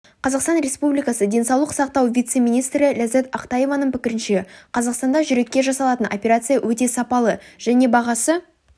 қазақстан республикасы денсаулық сақтау вице-министрі лязат ақтаеваның пікірінше қазақстанда жүрекке жасалатын операция өте сапалы және бағасы